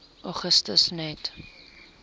augustus net